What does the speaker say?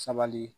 Sabali